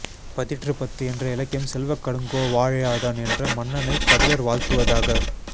பதிற்றுப்பத்து என்ற இலக்கியம் செல்வக்கடுங்கோ வாழியாதன் என்ற மன்னனைக் கபிலர் வாழ்த்துவதாக